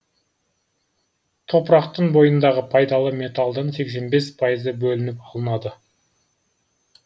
топырақтың бойындағы пайдалы металдың сексен бес пайызы бөлініп алынады